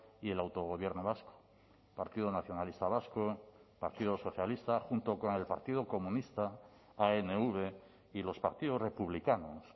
y el autogobierno vasco partido nacionalista vasco partido socialista junto con el partido comunista anv y los partidos republicanos